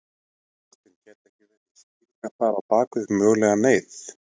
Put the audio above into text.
Kristinn: Gæti ekki verið skýringar þar á bakvið mögulega neyð?